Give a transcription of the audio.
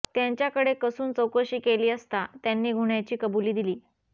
त्यांच्याकडे कसून चौकशी केली असता त्यांनी गुन्ह्याची कबुली दिली